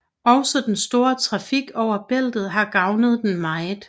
Også den store trafik over Bæltet har gavnet den meget